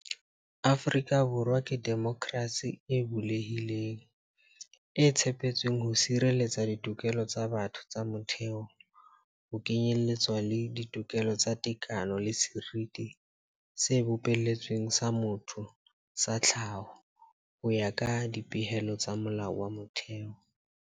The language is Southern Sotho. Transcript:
Afrika Borwa ke demokrasi e bulehileng, e tshepetsweng ho sireletsa ditokelo tsa batho tsa motheo, ho kenyeletswa le tokelo ya tekano le seriti se bopeletsweng sa motho sa tlhaho, ho ya ka dipehelo tsa Molao wa Motheo.